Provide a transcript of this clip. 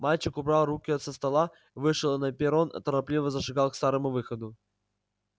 мальчик убрал руку от стекла вышел на перрон торопливо зашагал к старому выходу